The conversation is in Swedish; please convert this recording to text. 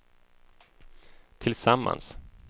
tillsammans